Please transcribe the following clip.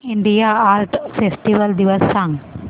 India art festival दिवस सांग